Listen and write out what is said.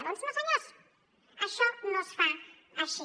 doncs no senyors això no es fa així